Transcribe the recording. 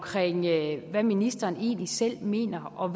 hvad ministeren egentlig selv mener og